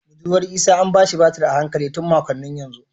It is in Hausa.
Budurwar Isah an ba shi batir a hankali tun makonni yanzu